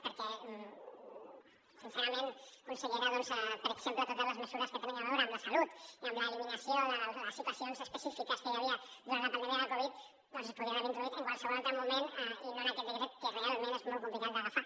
perquè sincerament consellera doncs per exemple totes les mesures que tenen a veure amb la salut i amb l’eliminació de les situacions específiques que hi havia durant la pandèmia de la covid doncs es podrien haver introduït en qualsevol altre moment i no en aquest decret que realment és molt complicat d’agafar